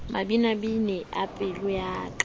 mabinabine a pelo ya ka